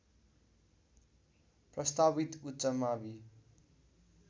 प्रस्तावित उच्च मावि